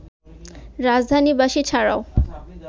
রাজধানীবাসী ছাড়াও